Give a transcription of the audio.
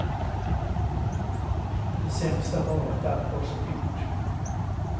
Det sämsta var att allt var så dyrt.